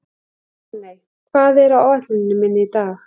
Máney, hvað er á áætluninni minni í dag?